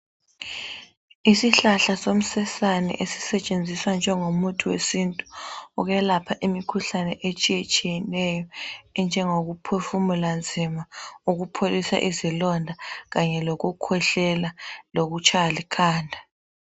Isihlahla somsesane esisetshenziswa njengo muthi wesintu ukwelapha imikhuhlane etshiye tshiyeneyo enjengoku phefumula nzima ukupholisa izilonda kanye lokukhwehlela lokutshaywa likhanda.